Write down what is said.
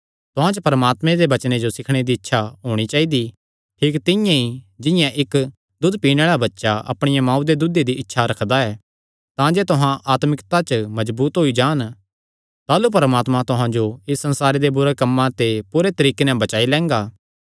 तुहां च परमात्मे दे वचने जो सीखणे दी इच्छा होणी चाइदी ठीक तिंआं ई जिंआं इक्क दूद पीणे आल़ा बच्चा अपणिया मांऊ ते दूदे दी इच्छा रखदा ऐ तांजे तुहां आत्मिकता च मजबूत होई जान ताह़लू परमात्मा तुहां जो इस संसारे दे बुरे कम्मां ते पूरे तरीके नैं बचाई लैंगा